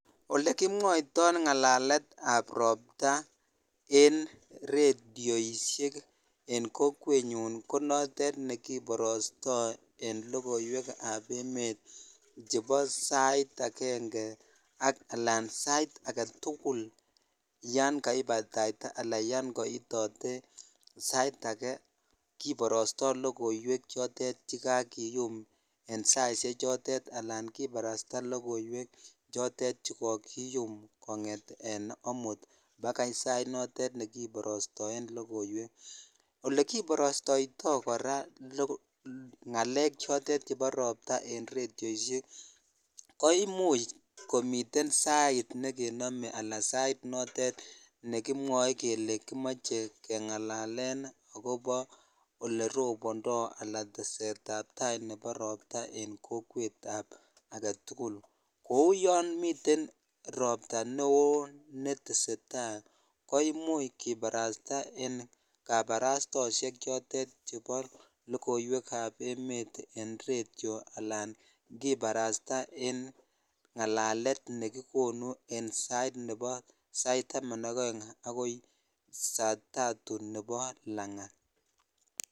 Olekimwoitoi ngalalet ab ropta en redioshek en kokwet ko notet nekiborostoi en lokowek ab emet chhebo sait aenge alan sait aketukul yan kaibaitaitaa ala yon koitotee sait ange kiborosto lokowek chotet chekakiyom en saishhej chotet ala kiparsta lokowek chotet che kokiyum kongeten amut bakai sait notet nekipoostoen lokoiwek olekiporstoitoi kora ngalek chotet chebo ropta en redioshek ko imuch komiten sait nekinome ala sait nekinome kele kimoche kengalalen akobo oleropondoi ala tesetab tai nebo rootaen kokwet ab aketukul kou yon miten ropta neo netesetai ko imuchh kiparasta en kaparastaoshek chotet chebo lokowek ab emet en redio alan kiparastaa en ngalalet nekikonu an sait nebo nebo saitaman ak oeng akoi saa tatu nebo langat.